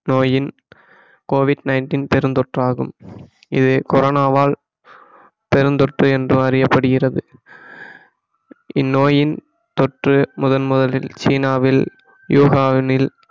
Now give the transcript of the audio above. நோயின் COVID-19 பெருந்தொற்றாகும் இது கொரோனாவால் பெருந்தொற்று என்றும் அறியப்படுகிறது இந்நோயின் தொற்று முதன் முதலில் சீனாவில் யுகனாவில்